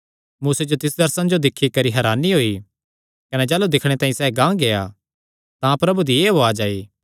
मूसे जो तिस दर्शने जो दिक्खी करी हरानी होई कने जाह़लू दिक्खणे तांई सैह़ गांह गेआ तां प्रभु दी एह़ उआज़ आई